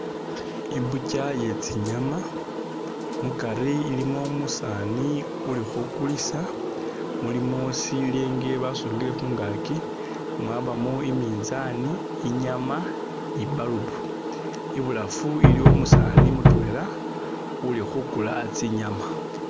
I'butcher iye tsinyaama mukari ilimo umusaani uli khukulisa, mulimo sileenge basungile khungaaki, mwabamo i'minzaani, inyaama ni i'bulb. Ibulafu iliwo umusaani uli khukula tsinyaama.